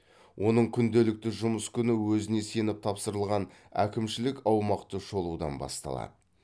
оның күнделікті жұмыс күні өзіне сеніп тапсырылған әкімшілік аумақты шолудан басталады